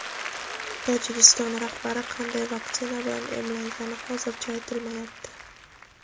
Tojikiston rahbari qanday vaksina bilan emlangani hozircha aytilmayapti.